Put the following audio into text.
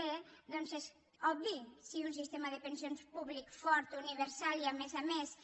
bé doncs és obvi si un sistema de pensions públic fort universal i a més a més